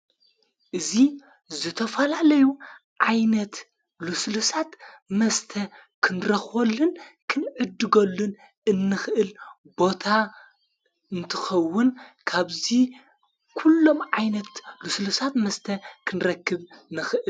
እዙ ዘተፈላለዩ ዓይነት ልሱልሳት መስተ ክንረኾልን ክንእድጐሉን እንኽእል ቦታ እንትኸውን ካብዙይ ኲሎም ዓይነት ልሥሳት መስተ ክንረክብ ንኽእል::